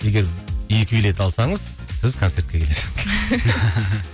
егер екі билет алсаңыз сіз концертке